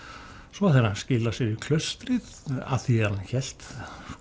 svo þegar hann skilar sér í klaustrið að því er hann hélt